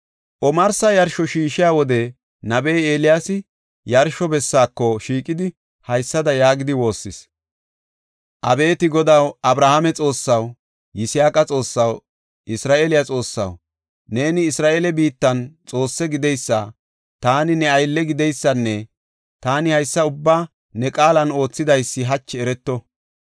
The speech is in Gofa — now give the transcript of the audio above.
Omarsa yarsho shiishiya wode nabey Eeliyaasi yarsho bessaako shiiqidi haysada yaagidi woossis; “Abeeti Godaw, Abrahaame Xoossaw, Yisaaqa Xoossaw, Isra7eele Xoossaw, neeni Isra7eele biittan Xoosse gideysa, taani ne aylle gideysanne taani haysa ubbaa ne qaalan oothidaysi hachi ereto.